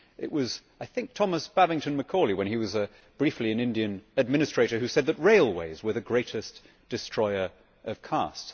I think it was Thomas Babington Macaulay, when he was briefly an Indian administrator, who said that railways were the greatest destroyer of caste.